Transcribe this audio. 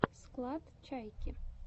склад чайки